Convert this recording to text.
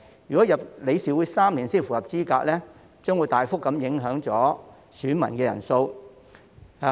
如果加入理事會3年才符合資格，將會大幅影響選民人數。